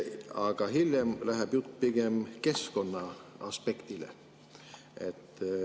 Aga hiljem läheb jutt pigem keskkonnaaspektile.